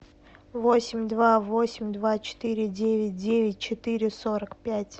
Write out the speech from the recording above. восемь два восемь два четыре девять девять четыре сорок пять